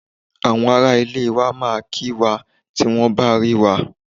Àwọn ará ilé wa máa kí wá tí wọ́n bá rí wa.